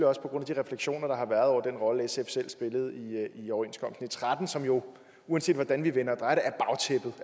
også på grund af de refleksioner der har været over den rolle sf selv spillede i overenskomsten tretten som jo uanset hvordan vi vender